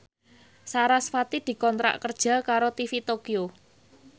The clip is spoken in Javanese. sarasvati dikontrak kerja karo TV Tokyo